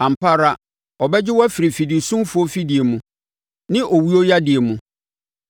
Ampa ara, ɔbɛgye wo afiri fidisumfoɔ afidie mu ne owuyadeɛ mu.